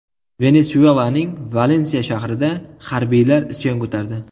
Venesuelaning Valensiya shahrida harbiylar isyon ko‘tardi.